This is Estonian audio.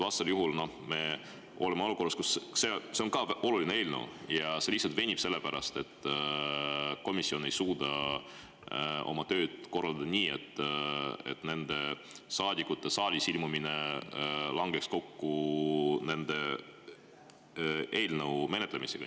Vastasel juhul me oleme olukorras, kus selle, ka olulise eelnõu menetlus lihtsalt venib, sest komisjon ei suuda oma tööd korraldada nii, et nende saadikute saali ilmumine langeks kokku nende eelnõu menetlemisega.